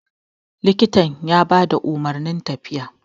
likitan ya ba da umarnin tafiya